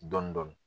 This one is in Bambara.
Dɔndɔni